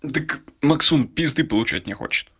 так максун пизды получать не хочет